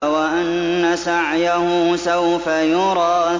وَأَنَّ سَعْيَهُ سَوْفَ يُرَىٰ